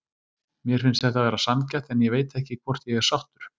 Mér finnst þetta vera sanngjarnt en ég veit ekki hvort ég er sáttur.